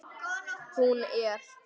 Hún er.